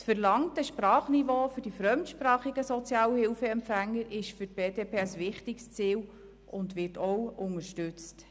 Das verlangte Sprachniveau für die fremdsprachigen Sozialhilfeempfänger ist für die BDP ein wichtiges Ziel und wird ebenfalls unterstützt.